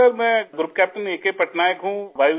سر میں group captain A K Patnaik ہوں